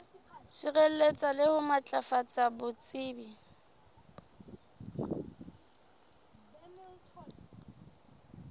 sireletsa le ho matlafatsa botsebi